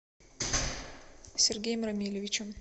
сергеем рамилевичем